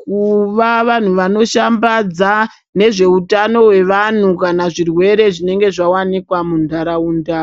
Kuva vantu vanoshabhadza nezveutano hwevanhu kana zvirwere zvinenge zvavanikwa munharaunda.